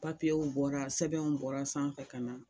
Papiyew bɔra sɛbɛnw bɔra sanfɛ ka na